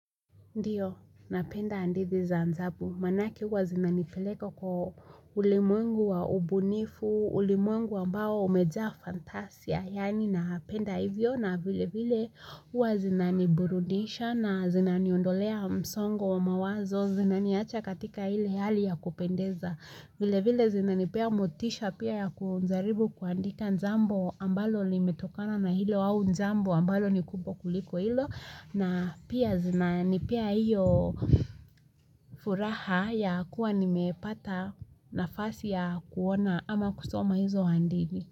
Ndiyo, napenda hadithi za mzabu. Maanake huwa zinanipeleka kwa ulimwengu wa ubunifu, ulimwengu ambao umejaa fantasia. Yaani napenda hivyo na vilevile huwa zinaniburudisha na zinaniondolea msongo wa mawazo, zinaniacha katika ile hali ya kupendeza. Vilevile zinanipea motisha pia ya kujaribu kuandika jambo ambalo limetokana na hilo au jambo ambalo ni kubwa kuliko hilo. Na pia zinanipea hiyo furaha ya kuwa nimepata nafasi ya kuona ama kusoma hizo hadithi.